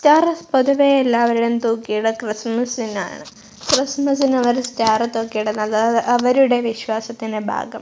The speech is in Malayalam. സ്റ്റാർ പൊതുവെ എല്ലാവരും തൂക്കി ഇടുക ക്രിസ്മസിനാണ് ക്രിസ്മസിന് അവർ സ്റ്റാർ തൂക്കി ഇടുന്നത് അവരുടെ വിശ്വാസത്തിന്റെ ഭാഗം--